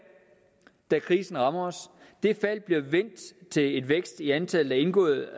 da krisen rammer os det fald bliver vendt til en vækst i antallet af indgåede